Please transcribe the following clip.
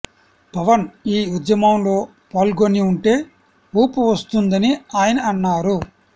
పవన్ ఈ ఉద్యమంలో పాల్గొని ఉంటె ఊపు వస్తుందని అయన అన్నారు